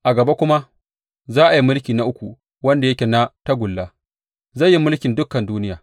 A gaba kuma, za a yi mulki na uku wanda yake na tagulla, zai yi mulkin dukan duniya.